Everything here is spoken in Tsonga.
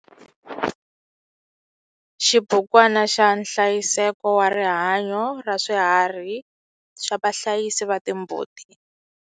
Xibukwana xa nhlayiseko wa rihanyo ra swiharhi xa vahlayisi va timbuti.